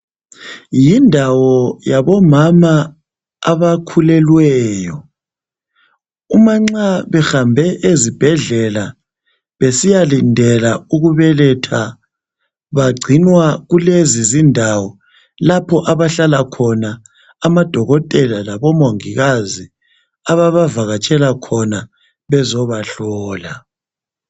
Yindawo yabomama abakhulelweyo. Umanxa behambe ezibhedlela besiyalindela ukubeletha bagcinwa kulezi zindawo lapho abahlala khona amadokothela labomongikazi ababavakatshela khona ukuzobahlola.